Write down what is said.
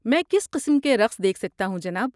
میں کس قسم کے رقص دیکھ سکتا ہوں، جناب؟